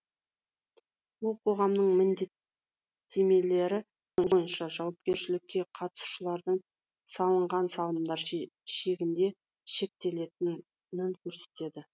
ол қоғамның міндеттемелері бойынша жауапкершілікке қатысушылардың салынған салымдар шегінде шектелетінін көрсетеді